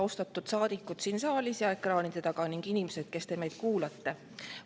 Austatud saadikud siin saalis ja ekraanide taga ning inimesed, kes te meid kuulate!